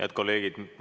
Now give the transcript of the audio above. Head kolleegid!